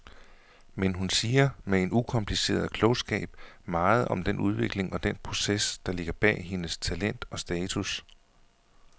Men hun siger med en ukompliceret klogskab meget om den udvikling og den proces, der ligger bag hendes talent og status.